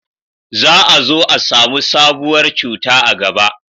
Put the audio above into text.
za a zo a samu sabuwar cuta a gaba